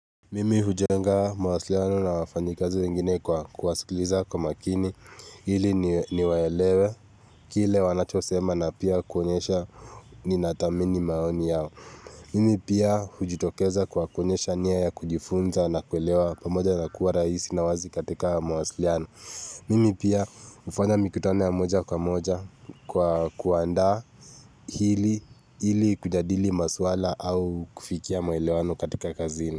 Mimi hujenga mawasiliano na wafanyikazi wengine kwa kuwasikiliza kwa makini ili niwaelewe kile wanachosema na pia kuonyesha ninathamini maoni yao. Mimi pia hujitokeza kwa kuonyesha nia ya kujifunza na kuelewa pamoja na kuwa rahisi na wazi katika mawasiliano. Mimi pia hufanya mikutano ya moja kwa moja kwa kuandaa ili kujadili maswala au kufikia muelewano katika kazini.